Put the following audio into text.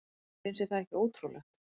Finnst þér það ekki ótrúlegt?